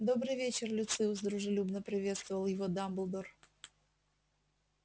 добрый вечер люциус дружелюбно приветствовал его дамблдор